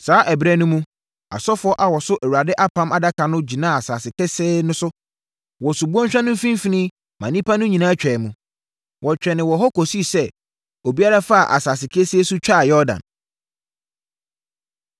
Saa ɛberɛ no mu, asɔfoɔ a wɔso Awurade Apam Adaka no gyinaa asase kesee so wɔ subɔnhwa no mfimfini ma nnipa no nyinaa twaa mu. Wɔtwɛnee wɔ hɔ kɔsii sɛ obiara faa asase kesee so twaa Yordan.